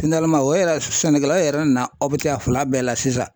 o yɛrɛ sɛnɛkɛla yɛrɛ nana a fila bɛɛ la sisan.